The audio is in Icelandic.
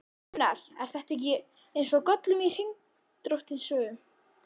Gunnar: Er þetta ekki eins og Gollum í Hringadróttinssögu?